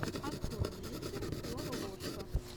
открой мистер лололошка